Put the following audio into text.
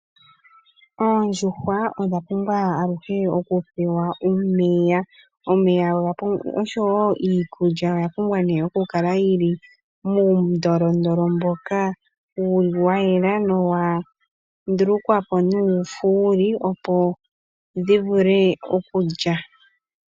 Oondjuhwa odha pumbwa aluhe okupewa omeya. Omeya oshowo iikulya oya pumbwa ne okukala yi li muundolondolo mboka wu li wa yela nowa ndulukwa po nuufuuli opo dhi vule okulya.